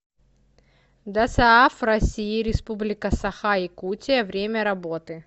досааф россии республика саха якутия время работы